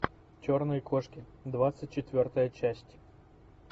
черные кошки двадцать четвертая часть